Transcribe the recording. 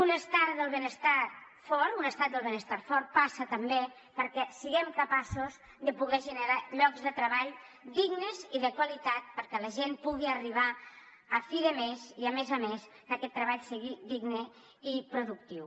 un estat del benestar fort passa també perquè siguem capaços de poder generar llocs de treball dignes i de qualitat perquè la gent pugui arribar a fi de mes i a més a més que aquest treball sigui digne i productiu